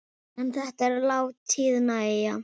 En þetta er látið nægja.